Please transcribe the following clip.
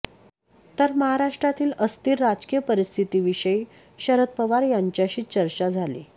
तर महाराष्ट्रातील अस्थिर राजकीय परिस्थितीविषयी शरद पवार यांच्याशी चर्चा झाली